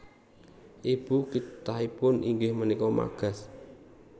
Ibu kithanipun inggih punika Magas